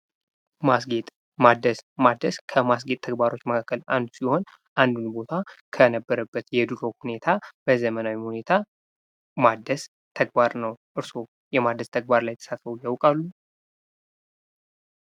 ማስጌጥ ማደስ፡- ማደስ ከማስጌጥ ስራዎች መካከል አንዱ ሲሆን ፤ አንድ ቦታ ከነበረበት የድሮ ሁኔታ በዘመናዊ ሁኔታ ማደስ ተግባር ነው። እርሶ የማደስ ተግባር ላይ ተሳትፈው ያውቃሉ?